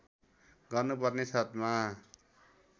गर्नुपर्ने शर्तमा